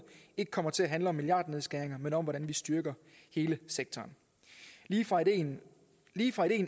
ikke kommer til at handle om milliardnedskæringer men om hvordan vi styrker hele sektoren lige fra ideen